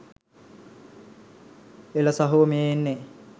එල සහෝ මේ එන්නෙ